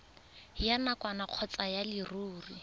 ya nakwana kgotsa ya leruri